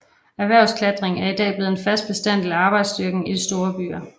Erhvervsklatring er i dag blevet en fast bestanddel af arbejdsstyrken i den store byer